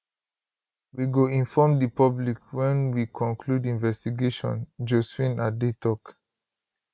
we go inform di public wen we conclude investigation josephine adeh tok